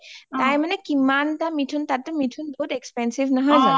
তাত মানে কি কিমান তা মিথুন , তাতে মিথুন বহুত expensive নহয় যানো?